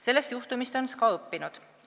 Sellest juhtumist on SKA õppinud.